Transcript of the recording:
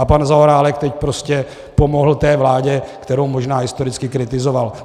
A pan Zaorálek teď prostě pomohl té vládě, kterou možná historicky kritizoval.